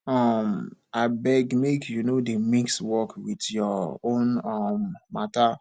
um abeg make you no dey mix work wit your own um mata